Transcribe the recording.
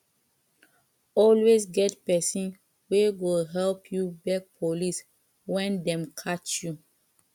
always get persin wey go help you beg police when dem catch you